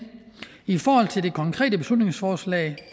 i forhold til det konkrete beslutningsforslag